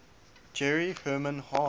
jerry herman harvey